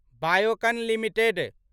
Biocon limited